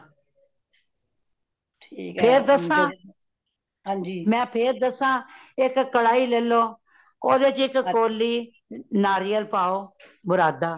ਫੇਰ ਦੱਸਾਂ ਮੈਂ ਫੇਰ ਦੱਸਾਂ, ਇਕ ਕਢਾਈ ਲੇਲੋ ਓਦੇ ਵਿਚ ਇਕ ਕੋਲੀ ਨਾਰੀਅਲ ਪਾਓ ਬੁਰਾਦਾ